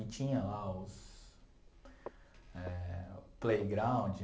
E tinha lá os eh playground.